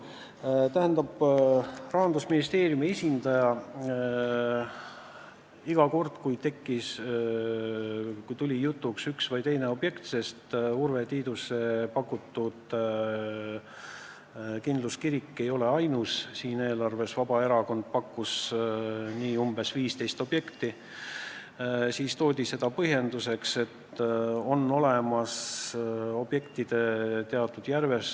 Tähendab, Rahandusministeeriumi esindaja iga kord, kui tuli jutuks üks või teine objekt – Urve Tiiduse pakutud kindluskirik ei ole ainus, Vabaerakond pakkus välja umbes 15 objekti –, tõi põhjenduseks, et on olemas objektide teatud järjestus.